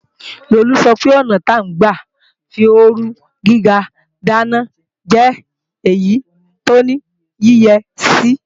Lolú sọpe ọ̀nà tí ń gbà fí ooru gíga dáná jẹ́ èyí tó ní yíyẹsí